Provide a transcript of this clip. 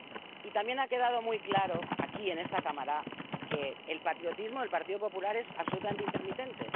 Y también ha quedado muy claro, aquí en esta Cámara, que el patriotismo del Partido Popular es absolutamente intermitente.